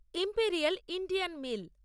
imperial Indian mail